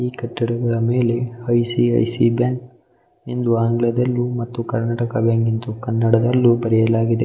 ಈ ಕಟ್ಟಡಗಳ ಮೇಲೆ I C I C I bank ಎಂದು ಆಂಗ್ಲ ದಲ್ಲೂ ಮತ್ತು ಕರ್ನಾಟಕ ಬ್ಯಾಂಕ್ ಎಂದು ಕನ್ನಡ ದಲ್ಲೂ ಬರೆಯಲಾಗಿದೆ .